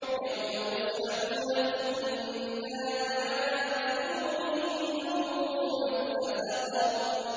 يَوْمَ يُسْحَبُونَ فِي النَّارِ عَلَىٰ وُجُوهِهِمْ ذُوقُوا مَسَّ سَقَرَ